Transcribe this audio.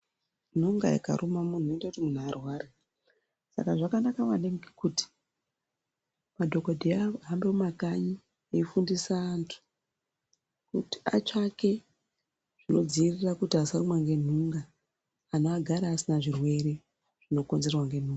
Nunga ikaruma munhi zvinoite muntu arware saka zvakakosha maningi kuti madhokodheya ahambe mumakanyi eyifundisa vantu kuti atsvake zvinodzivirira kuti asarumwa nenhunga anhu agare asina zvirwere zvinokonzerwa nenhunga.